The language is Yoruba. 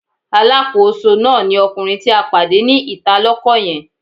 Alákòóso náà ni ọkùnrin tí a pàdé ní ìta lọ́kọ́ yẹn.